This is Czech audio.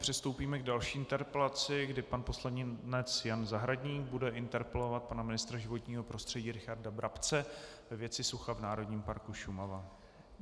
Přistoupíme k další interpelaci, kdy pan poslanec Jan Zahradník bude interpelovat pana ministra životního prostředí Richarda Brabce ve věci sucha v Národním parku Šumava.